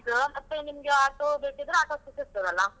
ಮತ್ತೆ ನಿಮ್ಗೆ auto ಬೇಕಿದ್ರೆ, auto ಸಿಕ್ಕಿಸ್ತಾರಲ್ಲ.